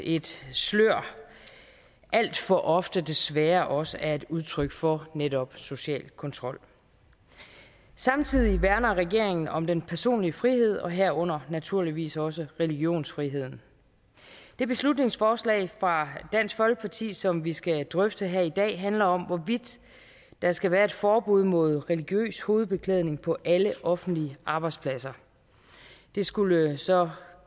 et slør alt for ofte desværre også er et udtryk for netop social kontrol samtidig værner regeringen om den personlige frihed og herunder naturligvis også religionsfriheden det beslutningsforslag fra dansk folkeparti som vi skal drøfte her i dag handler om hvorvidt der skal være et forbud mod religiøs hovedbeklædning på alle offentlige arbejdspladser det skulle jo så